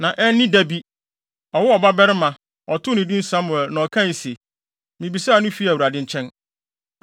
na anni da bi, ɔwoo ɔbabarima. Ɔtoo no din Samuel na ɔkae se, “Mibisaa no fii Awurade nkyɛn.”